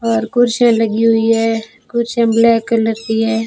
और कुर्सियां लगी हुई हैं कुर्सियां ब्लैक कलर की हैं।